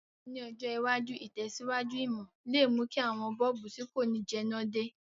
Ní ọjọ̀ iwájú, ìtẹ̀síwájú ìmò le mú ki àwon bulb ti ko ni jẹná de